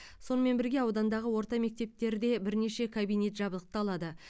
сонымен бірге аудандағы орта мектептерде бірнеше кабинет жабдықталады